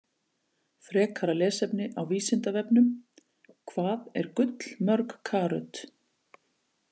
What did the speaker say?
Frekara lesefni á Vísindavefnum: Hvað er gull mörg karöt?